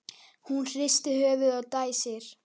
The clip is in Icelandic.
Hún hristir höfuðið og dæsir.